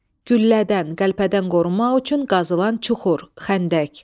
Güllədən, qəlpədən qorunmaq üçün qazılan çuxur, xəndək.